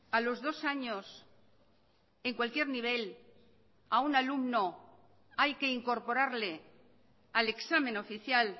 a los dos años en cualquier nivel a un alumno hay que incorporarle al examen oficial